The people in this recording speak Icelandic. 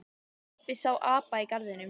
Pabbi sá apa í garðinum.